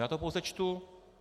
Já to pouze čtu.